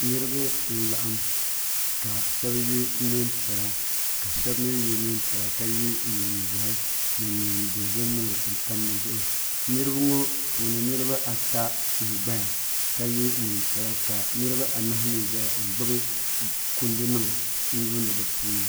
niriba n laɣim ka shɛbi yɛ nɛpiɛla ka yɛ nɛnʒiɛhi ni nɛidozim nima niriba ŋɔ puuni niribaata n gbaya ka yɛ nɛnpiɛlla ka niribaanahi mi ʒɛya n gbabi kundu nima n yuuni di puuni